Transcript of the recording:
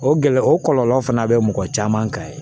O gɛlɛya o kɔlɔlɔ fana bɛ mɔgɔ caman kan yen